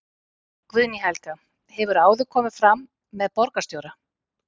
Guðný Helga: Hefurðu áður komið fram með borgarstjóra?